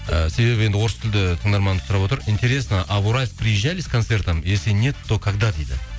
і себебі енді орыс тілді тыңдарманымыз сұрап отыр интересно а в уральск приезжали с концертом если нет то когда дейді